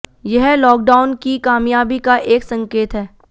यह लॉकडाउन की कामयाबी का एक संकेत है